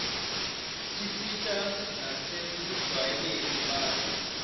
tisita nasekujwayeleni abantfu